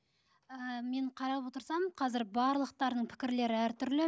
ы мен қарап отырсам қазір барлықтарының пікірлері әртүрлі